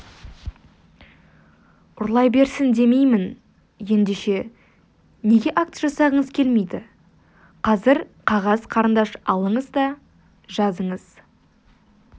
ұрлай берсін демеймін ендеше неге акт жасағыңыз келмейді қазір қағаз қарындаш алыңыз да жазыңыз